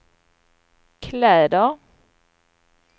kläder